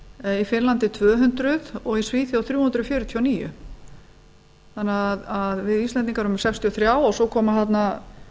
í finnlandi tvö hundruð og í svíþjóð þrjú hundruð fjörutíu og níu þannig að við íslendingar erum með sextíu og þrjú svo koma þarna